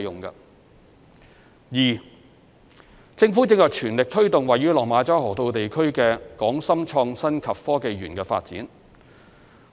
二政府正全力推動位於落馬洲河套地區的港深創新及科技園發展。